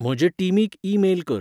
म्हजे टीमीक email कर